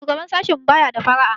Shugaban sashinmu baya da fara'a.